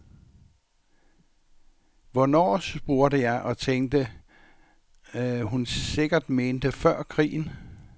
Hvornår, spurgte jeg og tænkte, hun sikkert mente før krigen.